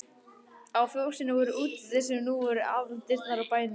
Á fjósinu voru útidyr sem nú voru aðaldyrnar á bænum.